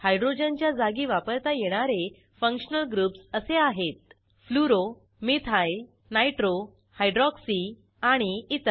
हायड्रोजनच्या जागी वापरता येणारे फंक्शनल ग्रुप्स असे आहेतः फ्लोरो मिथाइल नायट्रो हायड्रॉक्सी आणि इतर